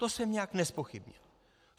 To jsem nijak nezpochybnil.